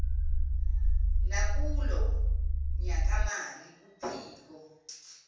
nakulo nyakamali uphiko